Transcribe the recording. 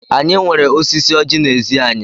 Anyị nweere osisi oji n'ezi anyị.